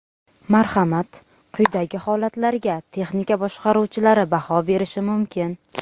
Marhamat, quyidagi holatlarga texnika boshqaruvchilari baho berishi mumkin.